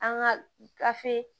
An ka gafe